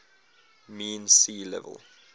mean sea level